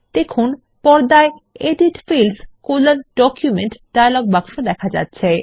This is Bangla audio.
দেখুন পর্দায় এডিট Fields ডকুমেন্ট ডায়লগ বাক্স দেখা যাচ্ছে